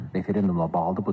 Referendumla bağlıdır.